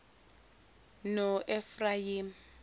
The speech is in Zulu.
noefrayimi